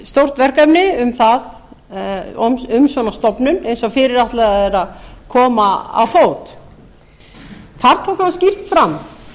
stórt verkefni um svona stofnun eins og fyrirætlað er að koma á fót þar tók hann skýrt fram